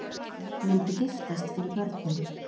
Myndu giftast fyrir börnin